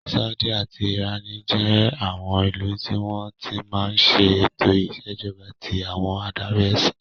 Sáúdí àti ìránì jẹ́ àwọn ìlú tí wọ́n ti máa ń ṣe ètò ìṣèjọba tí àwọn adarí ẹsìn.